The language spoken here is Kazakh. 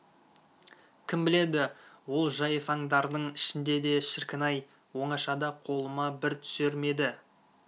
кім біледі ол жайсаңдардың ішінде де шіркін-ай оңашада қолыма бір түсер ме еді